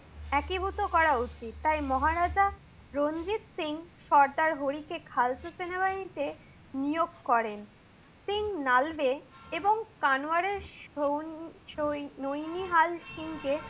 একিভুত করা উচিত। তাই মহা রাজা রঞ্জিত সিং সর্দার হরি কে খালসা সেনাবাহিনী তে নিয়োগ করেন। সিং নালবে এবং কানোয়ারেশ শো~শোনিহাল সিং কে